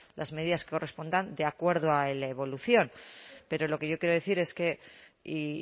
las medidas que correspondan de acuerdo a la evolución pero lo que yo quiero decir es que y